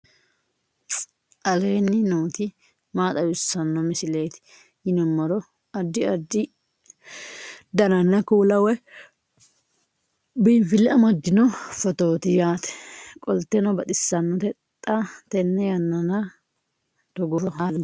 aleenni nooti maa xawisanno misileeti yinummoro addi addi dananna kuula woy biinfille amaddino footooti yaate qoltenno baxissannote xa tenne yannanni togoo footo haara danchate